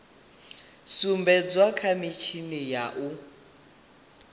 sumbedzwa kha mitshini ya u